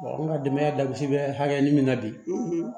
an ka denbaya dabiribe hakɛ min na bi